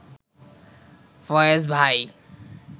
ফয়েজ ভাই